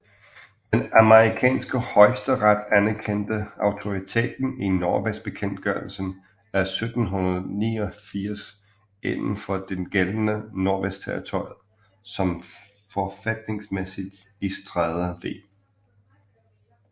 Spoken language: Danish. Den amerikanske højesteret anerkendte autoriteten i Nordvestbekendtgørelsen af 1789 inden for det gældende Nordvestterritoriet som forfatningsmæssigt i Strader v